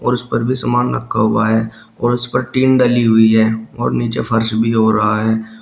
और उसपर भी सामान रखा हुआ है और उस पर टिन डली हुई है और नीचे फर्श भी हो रहा है।